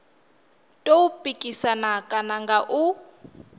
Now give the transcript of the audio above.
tou pikisana kana nga u